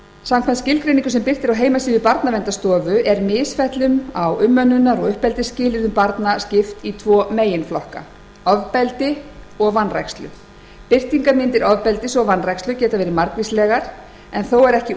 samkvæmt skilgreiningu sem birt er á heimasíðu barnaverndarstofu er misfellum á umönnunar og uppeldisskilyrðum barna skipt í tvo meginflokka ofbeldi og vanrækslu birtingarmyndir ofbeldis og vanrækslu geta verið margvíslegar en þó er ekki